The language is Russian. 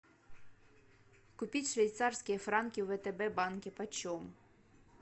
купить швейцарские франки в втб банке по чем